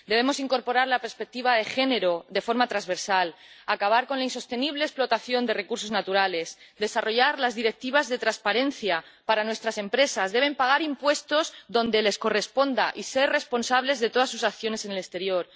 Debemos incorporar la perspectiva de género de forma transversal, acabar con la insostenible explotación de recursos naturales, desarrollar las Directivas de transparencia para nuestras empresas, que deben pagar impuestos donde les corresponda y ser responsables de todas sus acciones en el exterior.